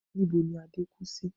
Níbo ni Adé kú sí?